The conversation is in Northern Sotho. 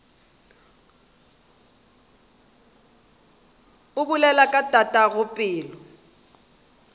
o bolela ka tatago pelo